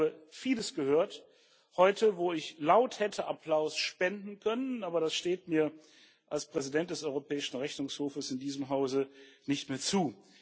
Ich habe vieles gehört heute, wo ich laut hätte Applaus spenden können, aber das steht mir als Präsident des Europäischen Rechnungshofes in diesem Hause nicht mehr zu.